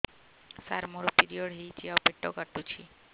ସାର ମୋର ପିରିଅଡ଼ ହେଇଚି ଆଉ ପେଟ କାଟୁଛି